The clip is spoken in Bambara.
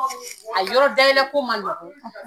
A yɔrɔ dayɛlɛ ko man nɔgɔn.